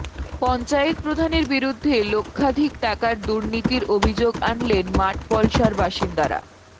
পঞ্চায়েত প্রধানের বিরুদ্ধে লক্ষাধিক টাকার দুর্নীতির অভিযোগ আনলেন মাঠপলশার বাসিন্দারা